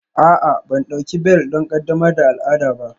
A'a, ban ɗauki bel don ƙaddamar da al'ada ba